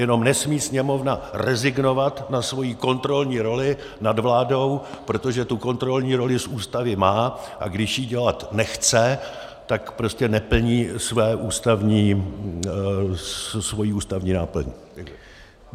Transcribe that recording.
Jenom nesmí Sněmovna rezignovat na svoji kontrolní roli nad vládou, protože tu kontrolní roli z Ústavy má, a když ji dělat nechce, tak prostě neplní svoji ústavní náplň.